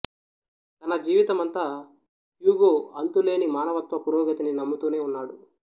తన జీవితమంతా హ్యూగో అంతులేని మానవత్వ పురోగతిని నమ్ముతూనే ఉన్నాడు